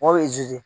Mɔw